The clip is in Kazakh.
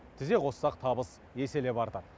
тізе қоссақ табыс еселеп артады